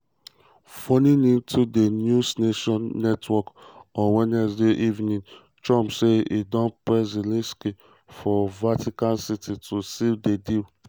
phoning into di newsnation network on wednesday evening trump say e don press zelensky for vatican city to seal di deal.